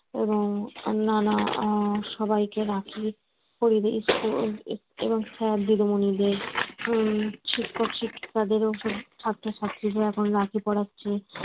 এবং অন্যান্য সবাইকে রাখি এবং sir দিদিমণিদের উম শিক্ষক শিক্ষিকাদের ছাত্র-ছাত্রীরা এখন রাখি পড়াচ্ছে